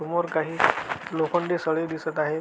समोर काही लोखंडी सळई दिसत आहे.